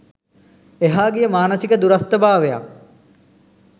එහා ගිය මානසික දුරස්ථභාවයක්